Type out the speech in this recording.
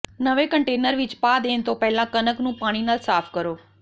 ਨਵੇਂ ਕੰਨਟੇਨਰ ਵਿਚ ਪਾ ਦੇਣ ਤੋਂ ਪਹਿਲਾਂ ਕਣਕ ਨੂੰ ਪਾਣੀ ਨਾਲ ਸਾਫ਼ ਕਰੋ